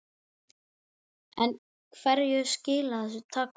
En hverju skila þessu takmörk?